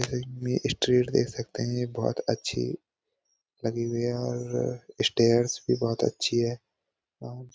यहाँ ये स्ट्रीट देख सकते हैं ये बहुत अच्छी बनी हुई है और ये स्टेयर्स भी बोहोत अच्छी हैं लोगों